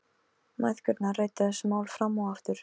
Mæðgurnar ræddu þessi mál fram og aftur.